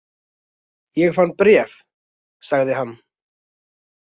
Ég fann bréf, sagði hann.